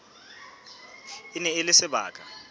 e ne e le sebaka